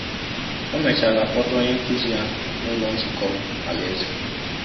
O mechaala kpọta onye nkụzi ya n’Ụlọ Nzukọ Alaeze.